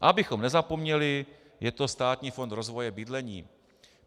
A abychom nezapomněli, je to Státní fond rozvoje bydlení.